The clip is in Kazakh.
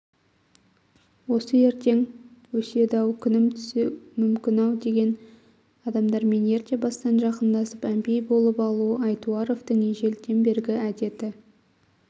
осы ертең өседі-ау күнім түсу мүмкін-ау деген адамдармен ерте бастан жақындасып әмпей болып алу айтуаровтың ежелден бергі әдеті